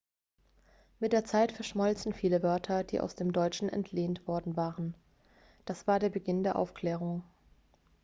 mit der zeit verschmolzen viele wörter die aus dem deutschen entlehnt worden waren das war der beginn der aufklärung